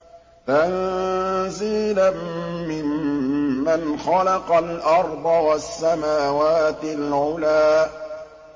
تَنزِيلًا مِّمَّنْ خَلَقَ الْأَرْضَ وَالسَّمَاوَاتِ الْعُلَى